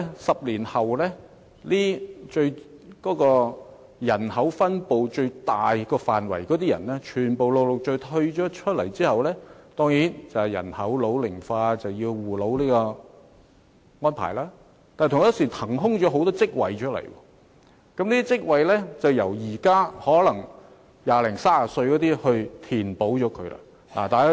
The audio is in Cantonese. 十年後，現時佔人口最大比例的人會陸續退休，人口老齡化當然需要有護老的安排，但同一時間亦會有不少職位騰空出來，要由現時二三十歲的人填補。